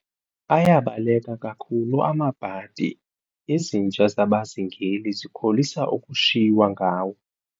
Ayabaleka kakhulu amabhadi, izinja zabazingeli zikholisa ukushiywa ngawo.